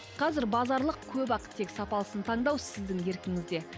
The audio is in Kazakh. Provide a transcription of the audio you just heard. қазір базарлық көп ақ тек сапасын таңдау сіздің еркіңізде